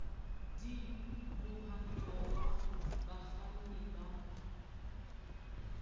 d mohwanto wa bakganni ba